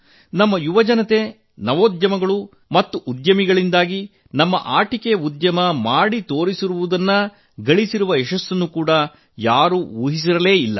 ನಮ್ಮ ಯುವಜನತೆ ನವೋದ್ಯಮಗಳು ಮತ್ತು ಉದ್ಯಮಿಗಳಿಂದಾಗಿ ನಮ್ಮ ಆಟಿಕೆ ಉದ್ಯಮ ಮಾಡಿರು ಸಾಧನೆಯನ್ನು ಗಳಿಸಿರುವ ಯಶಸ್ಸನ್ನು ಯಾರೂ ಊಹಿಸಿರಲು ಸಾಧ್ಯವಿಲ್ಲ